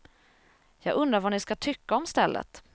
Jag undrar vad ni ska tycka om stället.